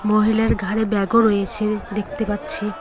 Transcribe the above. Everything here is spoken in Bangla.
মহিলার ঘাড়ে ব্যাগ -ও রয়েছে দেখতে পাচ্ছি।